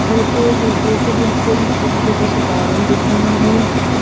हल्के-हल्के से बिल्कुल छोटे-छोटे से बादल दिख रहे हैं।